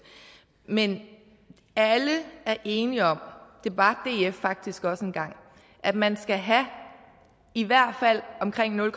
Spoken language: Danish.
men alle er enige om det var df faktisk også engang at man skal have i hvert fald omkring nul